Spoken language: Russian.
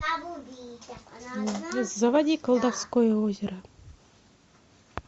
заводи колдовское озеро